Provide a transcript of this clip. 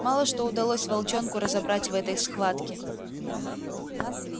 мало что удалось волчонку разобрать в этой схватке